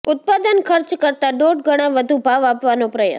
ઉત્પાદન ખર્ચ કરતા દોઢ ગણા વધુ ભાવ આપવાનો પ્રયાસ